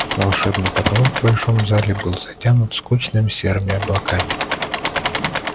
волшебный потолок в большом зале был затянут скучными серыми облаками